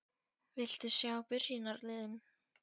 Viltu sjá byrjunarliðin?